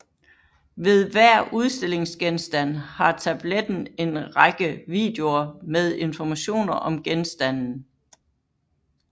Ved hver udstillingsgenstand har tabletten en række videoer med informationer om genstanden